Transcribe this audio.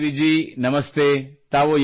ಸುಖದೇವಿ ಜೀ ನಮಸ್ತೆ